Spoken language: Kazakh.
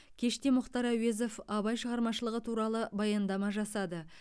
кеште мұхтар әуезов абай шығармашылығы туралы баяндама жасады